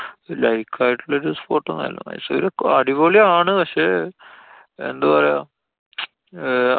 like ആയിട്ടുള്ള ഒരു spot ഒന്നും അല്ല. മൈസൂര് അടിപൊളി ആണ്. പക്ഷെ എന്തു പറയാ. ആ